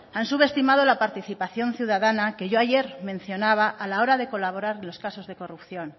han subestimado la participación ciudadana que yo ayer mencionaba a la hora de colaborar en los casos de corrupción